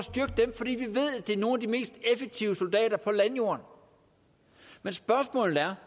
det er nogle af de mest effektive soldater på landjorden men spørgsmålet er